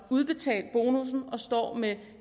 udbetalt bonussen og står med